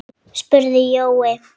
spurði Jói.